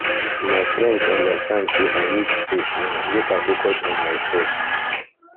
my friends understand sey i need space now make i focus on mysef